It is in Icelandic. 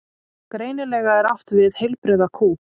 Greinilega er átt við heilbrigða kú.